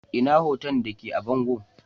Ina hoto da ke a bango?